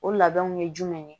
O labɛnw ye jumɛn ye